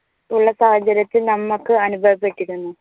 ഉള്ള സാഹചര്യത്തിൽ നമുക്ക് അനുഭവപ്പെട്ടിരുന്നു.